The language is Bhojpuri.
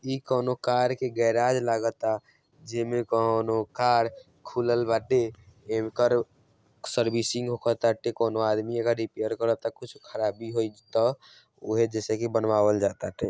इ कोनों कार के गेराज लगता जैमें कोनो कार खुलल बाटे। इंकर सर्विसिंग होखताटे। कोनो आदमी एकरा के रिपेयर करता कुछ खराबी होईता उहें जैसे की बनवावल जता ते |